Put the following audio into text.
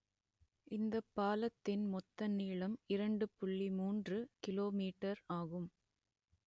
இந்த பாலத்தின் மொத்த நீளம் இரண்டு புள்ளி மூன்று கிலோ மீட்டர் ஆகும்